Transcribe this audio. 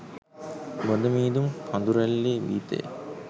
බොඳ මීදුම් කඳුරැල්ලේ ගීතය